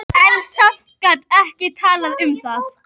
En samt- gat ekki talað um það.